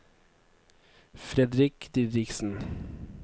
Fredrik Didriksen